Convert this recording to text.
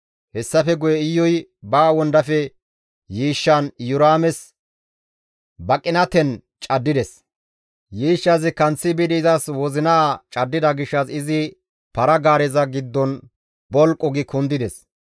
Hessafe guye Iyuy ba wondafe yiishshan Iyoraames baqinaten caddides. Yiishshazi kanththi biidi izas wozinaa caddida gishshas izi para-gaareza giddon bolqu gi kundides.